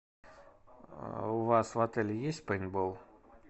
у вас в отеле есть пейнтбол